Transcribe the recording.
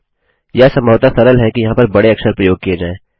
यह संभवतः सरल है कि यहाँ पर बड़े अक्षर प्रयोग किये जाएँ